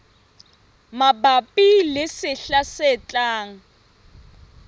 mabapi le sehla se tlang